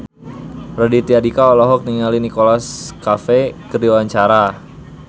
Raditya Dika olohok ningali Nicholas Cafe keur diwawancara